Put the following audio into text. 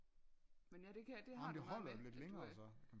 Me ja det kan det har du noget med at du er